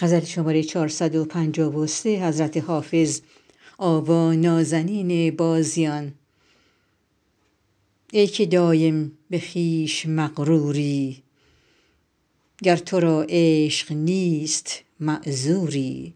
ای که دایم به خویش مغروری گر تو را عشق نیست معذوری